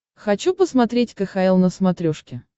хочу посмотреть кхл на смотрешке